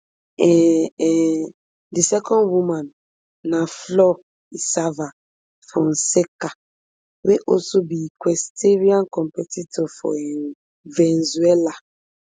um um di second woman na flor isava fonseca wey also be equestrian competitor for um venezuela